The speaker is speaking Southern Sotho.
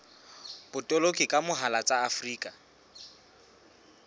botoloki ka mohala tsa afrika